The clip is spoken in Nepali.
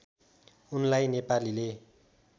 उनलाई नेपालीले